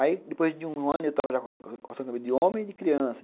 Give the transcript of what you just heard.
Aí, depois de um ano, eu já estava cortando cabelo de homem e de criança.